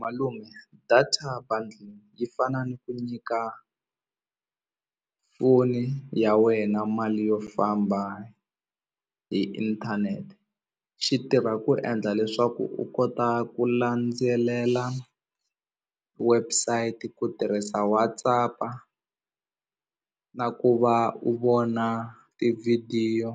Malume data buddle yi fana ni ku nyika foni ya wena mali yo famba hi inthanete xi tirha ku endla leswaku u kota ku landzelela website ku tirhisa WhatsApp-a na ku va u vona tivhidiyo